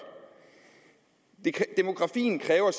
demografien kræver at